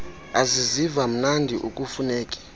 aziziva mnandi akufuneki